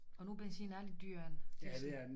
Og nu benzin er lidt dyrere end det sådan